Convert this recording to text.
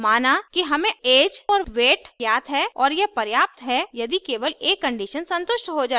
माना कि हमें ऐज और weight ज्ञात हैं और यह पर्याप्त है यदि केवल एक conditions संतुष्ट हो जाये